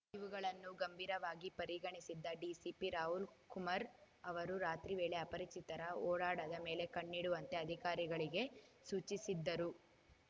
ಇವುಗಳನ್ನು ಗಂಭೀರವಾಗಿ ಪರಿಗಣಿಸಿದ್ದ ಡಿಸಿಪಿ ರಾಹುಲ್‌ ಕುಮಾರ್‌ ಅವರು ರಾತ್ರಿ ವೇಳೆ ಅಪರಿಚಿತರ ಓಡಾಡದ ಮೇಲೆ ಕಣ್ಣಿಡುವಂತೆ ಅಧಿಕಾರಿಗಳಿಗೆ ಸೂಚಿಸಿದ್ದರು